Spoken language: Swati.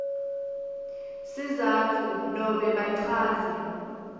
sizatfu nobe bachaze